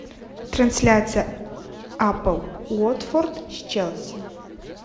трансляция апл уотфорд с челси